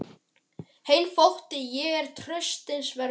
Þeim þótti ég ekki traustsins verður.